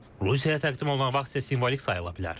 Rusiyaya təqdim olunan vaxt isə simvolik sayıla bilər.